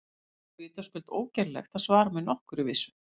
Því er vitaskuld ógerlegt að svara með nokkurri vissu.